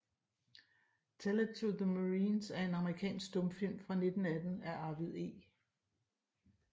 Tell It to the Marines er en amerikansk stumfilm fra 1918 af Arvid E